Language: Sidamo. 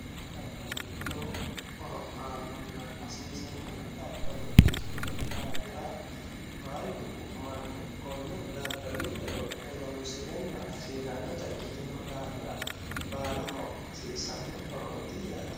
kuni daddali lowo horo aannohanna hasiisanno daddalo ikkino daafira baalunku manni konne daddalu horonsirenna hasiisannota ikkitino daafira baalaho hasiissanno horooti yaate.